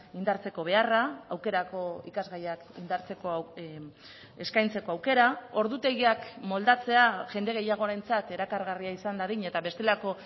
indartzeko beharra aukerako ikasgaiak indartzeko eskaintzeko aukera ordutegiak moldatzea jende gehiagorentzat erakargarria izan dadin eta bestelako